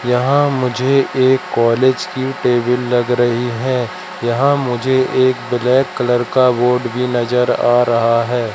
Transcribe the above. यहां मुझे एक कॉलेज की टेबिल लग रही है यहां मुझे एक ब्लैक कलर का बोर्ड भी नजर आ रहा है।